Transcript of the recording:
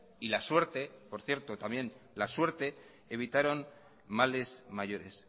y la suerte por cierto también la suerte evitaron males mayores